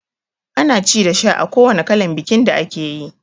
Ana ci da sha a kowanne kalan bikin da akeyi